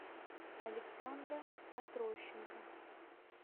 александра отрощенко